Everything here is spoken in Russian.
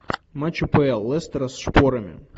матч апл лестера с шпорами